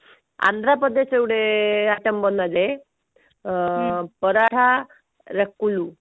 ଆନ୍ଧ୍ରପ୍ରଦେଶ ରେ ଗୋଟେ item ବନାଯାଏ ଅ ପରାଠା ରକୁଲୁ